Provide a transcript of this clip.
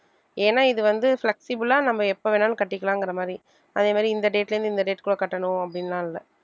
ஏனா இது வந்து flexible ஆ நம்ம எப்ப வேணாலும் கட்டிக்கலாங்கற மாதிரி அதே மாதிரி இந்த date ல இருந்து இந்த date க்குள்ள கட்டணும் அப்படின்னு எல்லாம் இல்லை